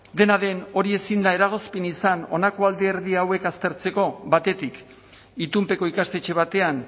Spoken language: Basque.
dena den hori ezin da eragozpenik izan honako alderdi hauek aztertzeko batetik itunpeko ikastetxe batean